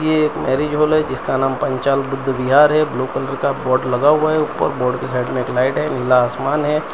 ये एक marriage hall है जिसका नाम पांचाल बुद्ध विहार है ब्लू कलर का बोर्ड लगा हुआ है ऊपर बोर्ड के साइड में एक लाइट है नीला आसमान है।